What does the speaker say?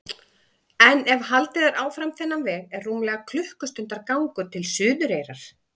En ef haldið er áfram þennan veg er rúmlega klukkustundar gangur til Suðureyrar.